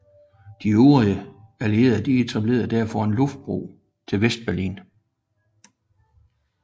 De øvrige allierede etablerede derfor en luftbro til Vestberlin